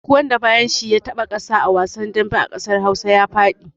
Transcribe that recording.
Duk wanda bayan shi ya taɓa ƙasa a wasan dambe a ƙasar Hausa ya faɗi.